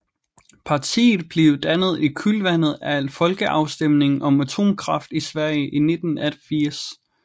Partiet blev dannet i kølvandet af folkeafstemningen om atomkraft i Sverige i 1980